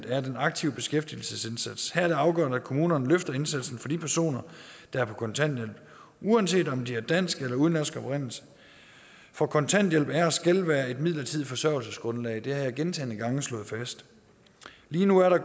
er den aktive beskæftigelsesindsats her er det afgørende at kommunerne løfter indsatsen for de personer der er på kontanthjælp uanset om de er af dansk eller udenlandsk oprindelse for kontanthjælp er og skal være et midlertidigt forsørgelsesgrundlag det har jeg gentagne gange slået fast lige nu er